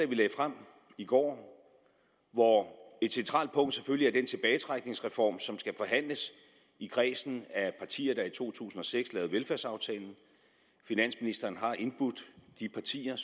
vi lagde frem i går hvor et centralt punkt selvfølgelig er den tilbagetrækningsreform som skal forhandles i kredsen af partier der i to tusind og seks lavede velfærdsaftalen finansministeren har indbudt de partier